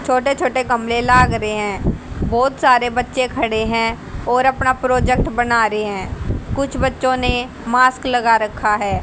छोटे छोटे गमले लाग रहे है बहोत सारे बच्चे खड़े है और अपना प्रोजेक्ट बना रहे हैं कुछ बच्चो ने मास्क लगा रखा है।